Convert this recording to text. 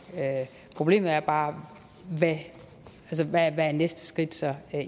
problemet er bare hvad det næste skridt så er